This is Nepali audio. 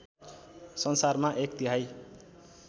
संसारमा एक तिहाइ